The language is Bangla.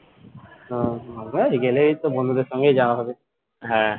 ওহ গেলেই তো বন্ধুদের সঙ্গেই যাওয়া হবে